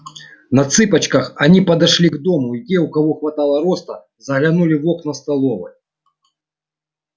на цыпочках они подошли к дому и те у кого хватало роста заглянули в окна столовой